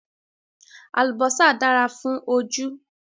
Àlùbọ́sà dára fún ojú